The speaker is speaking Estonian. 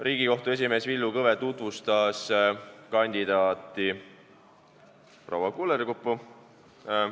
Riigikohtu esimees Villu Kõve tutvustas kandidaati proua Kullerkuppu.